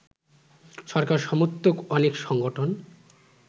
সরকার সমর্থক অনেক সংগঠন